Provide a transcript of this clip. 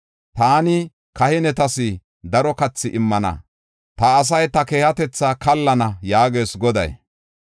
Taani kahinetas daro kathi immana; ta asay ta keehatetha kaallana” yaagees Goday.